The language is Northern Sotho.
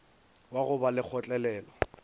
wa go ba le kgotlelelo